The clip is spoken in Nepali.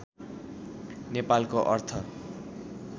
नेपालको अर्थ